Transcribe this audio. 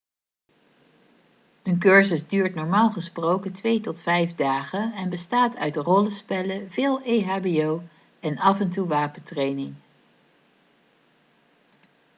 een cursus duurt normaal gesproken 2 tot 5 dagen en bestaat uit rollenspellen veel ehbo en af en toe wapentraining